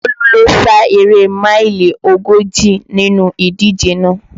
Bólú lo sá eré máìlì ogójì nínú ìdíje náà